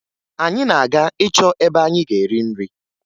Anyị na-aga ịchọ ebe anyị ga-eri nri